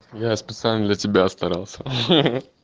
я специально для тебя старался хах